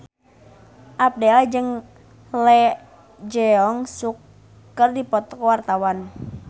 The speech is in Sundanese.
Abdel jeung Lee Jeong Suk keur dipoto ku wartawan